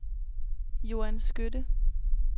Joan Skytte